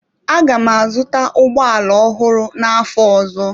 Aga m azụta ụgbọ ala ọhụrụ n'afọ ọzọ.